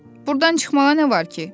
Burdan çıxmağa nə var ki?